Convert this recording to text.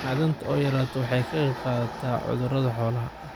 Macdanta oo yaraata waxay ka qayb qaadataa cudurrada xoolaha.